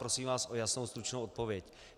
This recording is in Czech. Prosím vás o jasnou, stručnou odpověď.